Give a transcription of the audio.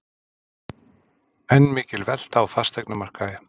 Enn mikil velta á fasteignamarkaði